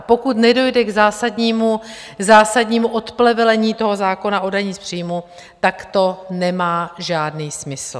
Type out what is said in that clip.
A pokud nedojde k zásadnímu odplevelení toho zákona o dani z příjmu, tak to nemá žádný smysl.